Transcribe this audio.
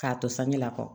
K'a to sange la kɔ